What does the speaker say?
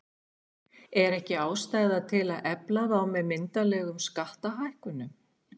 Er ekki ástæða til að efla þá með myndarlegum skattalækkunum?